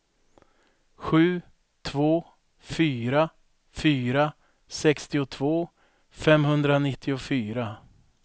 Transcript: sju två fyra fyra sextiotvå femhundranittiofyra